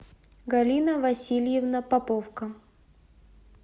галина васильевна поповка